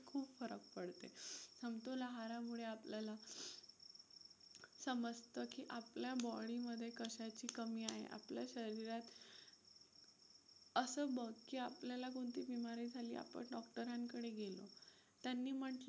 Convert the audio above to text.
आपल्याला समजतं की आपल्या body मध्ये कशाची कमी आहे. आपल्या शरीरात असं बघ की आपल्याला कोणती बीमारी झाली आपण डॉक्टरांकडे गेलो, त्यांनी म्हंटलं,